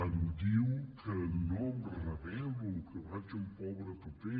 em diu que no em rebel·lo que faig un pobre paper